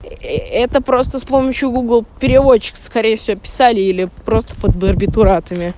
ээ это просто с помощью гугл переводчика скорее всего писали или просто под барбитуратами